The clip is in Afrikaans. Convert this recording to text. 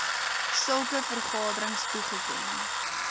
sulke vergaderings toegeken